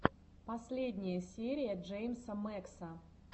последняя серия джеймса мэкса